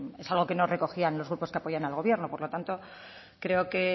es algo que no recogían los grupos que apoyan al gobierno por lo tanto creo que